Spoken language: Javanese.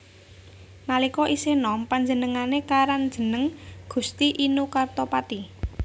Nalika isih nom panjenengane karan jeneng Gusti Inu Kartapati